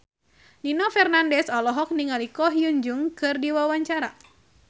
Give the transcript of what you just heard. Nino Fernandez olohok ningali Ko Hyun Jung keur diwawancara